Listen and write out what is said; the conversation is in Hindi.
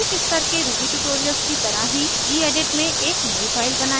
प्रारंभिक स्तर के ruby ट्यूटोरियल्स की तरह ही gedit में एक नयी फाइल बनायें